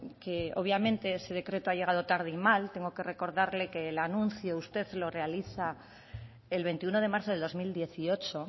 que obviamente ese decreto ha llegado tarde y mal tengo que recordarle que el anuncio usted lo realiza el veintiuno de marzo del dos mil dieciocho